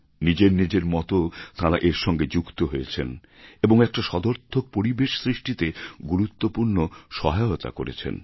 নিজের নিজের মত তাঁরা এর সঙ্গে যুক্ত হয়েছেন এবং একটা সদর্থক পরিবেশ সৃষ্টিতে গুরুত্বপূর্ণ সহায়তা করেছেন